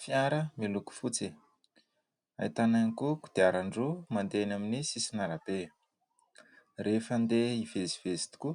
fiara miloko fotsy ahitana hiany koa kodiaran-dro mandehany aminy sy sy nalabe rehefa ndeha hivezivezy tokoa